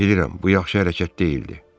Bilirəm, bu yaxşı hərəkət deyildi.